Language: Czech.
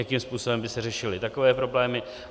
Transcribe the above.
Jakým způsobem by se řešily takové problémy?